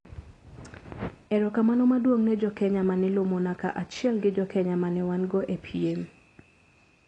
Ero kamano maduong ne Jokenya mane lomona ka achiel gi jokenya mane wan go e piem,